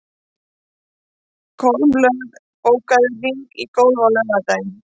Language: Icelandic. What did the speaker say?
Stóru skíðishvalirnir koma einum kálfi til hvals á tveggja til fjögurra ára fresti.